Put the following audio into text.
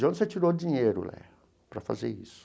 De onde você tirou o dinheiro Léia para fazer isso?